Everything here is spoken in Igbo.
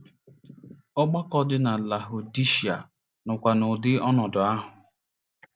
Ọgbakọ dị na Lahụdishịa nọkwa n'ụdị ọnọdụ ahụ.